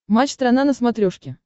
матч страна на смотрешке